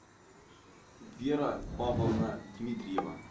вера павловна дмитриева